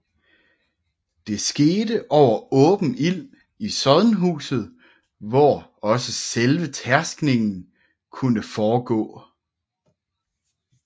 Det skete over åben ild i sodnhuset hvor også selve tærskningen kunne foregå